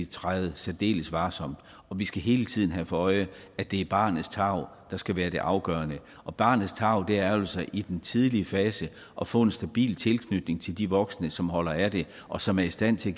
træde særdeles varsomt og vi skal hele tiden have for øje at det er barnets tarv der skal være det afgørende og barnets tarv er jo så i den tidlige fase at få en stabil tilknytning til de voksne som holder af det og som er i stand til